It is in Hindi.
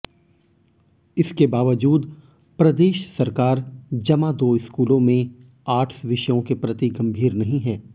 इसके बावजूद प्रदेश सरकार जमा दो स्कूलों में आर्ट्स विषयों के प्रति गंभीर नहीं है